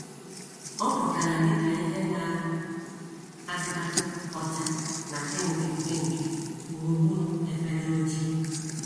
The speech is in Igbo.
Ọ pụtara dị ka ìhè na - achatatụ ọcha na pinki pinki gburugburu efere ojii.